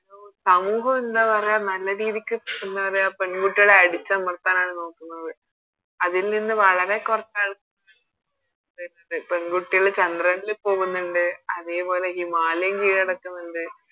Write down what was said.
സമൂഹം എന്താ പറയാ നല്ല രീതിക്ക് എന്ന പറയാ പെൺകുട്ടികളെ അടിച്ചമർത്തനാണ് നോക്കുന്നത് അതിൽ നിന്ന് വളരെ കൊറചാ ണ്ട് പെൺകുട്ടികള് ചന്ദ്രനില് പോകുന്നുണ്ട് അതെ പോലെ ഹിമാലയം കീഴടക്കുന്നുണ്ട്